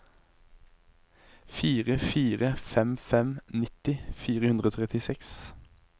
fire fire fem fem nitti fire hundre og trettiseks